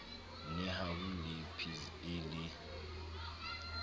nehawu le psa e le